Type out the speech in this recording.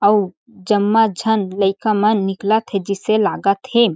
अउ जम्मा झन लईका मन निकलत हे जइसे लागत हे।